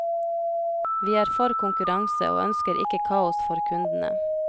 Vi er for konkurranse og ønsker ikke kaos for kundene.